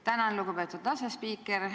Tänan, lugupeetud asespiiker!